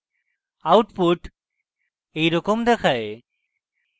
output এইরকম দেখায়